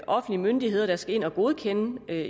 offentlige myndigheder der skal ind at godkende at